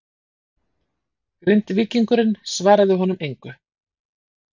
Grindvíkingurinn svaraði honum engu.